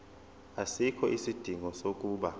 asikho isidingo sokuba